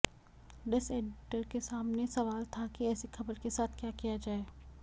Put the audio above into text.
desk editor के सामने सवाल था कि ऐसी खबर के साथ क्या किया जाए